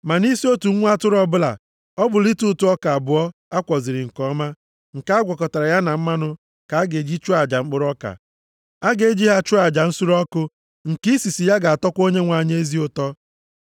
Ma nʼisi otu nwa atụrụ ọbụla, ọ bụ lita ụtụ ọka abụọ a kwọziri nke ọma, nke a gwakọtara ya na mmanụ ka a ga-eji chụọ aja mkpụrụ ọka. A ga-eji ha chụọ aja nsure ọkụ nke isisi ya ga-atọkwa Onyenwe anyị ezi ụtọ.